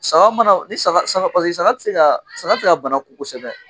Saga mana ni saga saga tɛ se ka bana kun kosɛbɛ